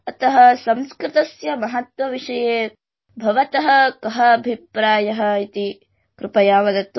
अतः संस्कृतस्य महत्व विषये भवतः गह अभिप्रायः इति रुपयावदतु